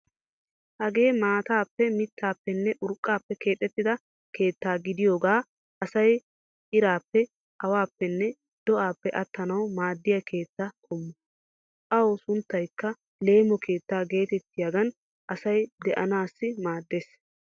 Hagee maataappe mittaappenne urqqaappe keexettida keettaa gidiyogan asay iraappe, awaappenne do'aappe attanawu maaddiya keetta qommo. Awu sunttaykka leemo keettaa geetettiyogan asay de'anaassi maaddeees.